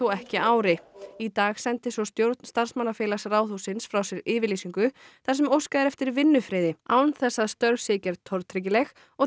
ekki ári í dag sendi stjórn starfsmannafélags Ráðhússins frá sér yfirlýsingu þar sem óskað er eftir vinnufriði án þess að störf séu gerð tortryggileg og